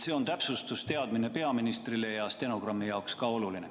See on täpsustus, teadmine peaministrile ja stenogrammi jaoks ka oluline.